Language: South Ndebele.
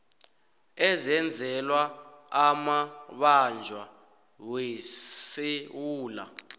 eyenzelwa amabanjwa wesewula